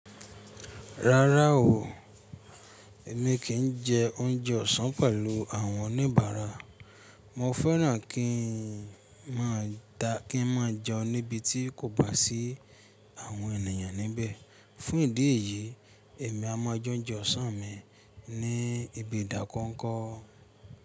Rárá o, èmi kì í jẹ oúnjẹ ọ̀sán pẹ̀lú àwọn oníbàárà. Mo fẹ́ràn kí n máa jẹun níbi tí kò bá sí àwọn ènìyàn níbẹ̀. Fún ìdí èyí, èmi a máa jẹ oúnjẹ ọ̀sán mi ní ibi ìdákọ́nkọ́.